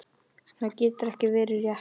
Það getur ekki verið rétt.